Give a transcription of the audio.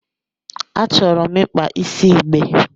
Achọrọ m ịkpa isi igbe.